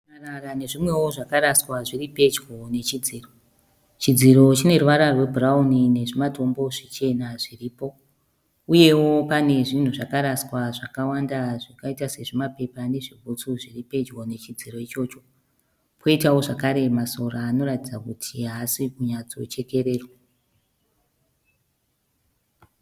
Marara nezvimwewo zvakaraswa zviripedyo nechidziro. Chidziro chineruvara rwebhurauni nezvimatombo zvichena zviripo. Uyewo pane zvinhu zvakaraswa zvakawanda zvakaita sezvimapepa nezvibhutsu zviripedyo nechidziro ichocho. Poitawo zvakare masora anoratidza kuti haasi kunyatsochekererwa.